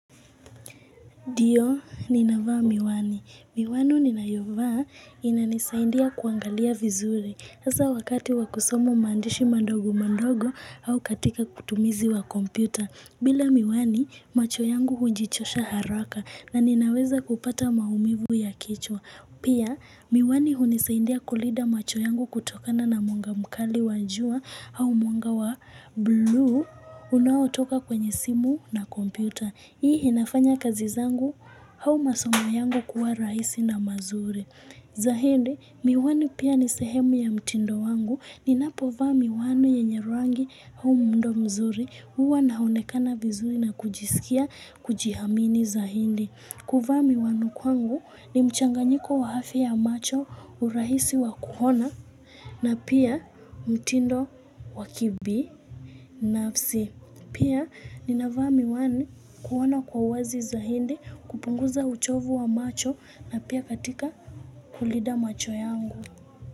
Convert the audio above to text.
Ndio, ninavaa miwani. Miwani ninayovaa inanisaidia kuangalia vizuri. Hasa wakati wakusoma maandishi madogo madogo au katika utumizi wa kompyuta. Bila miwani, macho yangu hujichosha haraka na ninaweza kupata maumivu ya kichwa. Pia, miwani hunisaidia kulinda macho yangu kutokana na mwanga mkali wa jua au mwonga wa bu unaotoka kwenye simu na kompyuta. Hii inafanya kazi zangu au masoma yangu kuwa rahisi na mazuri. Zaidi, miwani pia ni sehemu ya mtindo wangu. Ninapovaa miwani yenye rangi au muundo mzuri huwa naonekana vizuri na kujisikia kujiamini zaidi. Kuvaa miwani kwangu ni mchanganyiko wa afya ya macho, urahisi wa kuona na pia mtindo wa kibinafsi. Pia ninavaa miwani kuona kwa uwazi zaidi, kupunguza uchovu wa macho na pia katika kulinda macho yangu.